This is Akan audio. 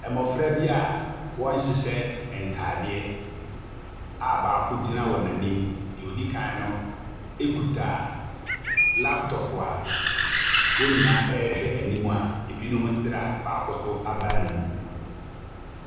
Mmɔfra bi a wɔnhyehyɛ ntadeɛ a baako gyina wɔn anim. Deɛ ɔdi kan no kuta laptɔpo a a wɔn nyinaa rehwɛ anim a binom resere a baako nso abae n'anom.